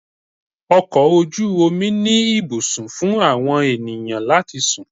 Ọkọ̀ ojú omi ní ibùsùn fún àwọn ènìyàn láti sùn.